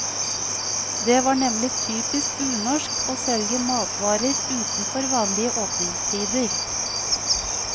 Det var nemlig typisk unorsk å selge matvarer utenfor vanlige åpningstider.